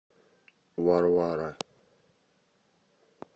варвара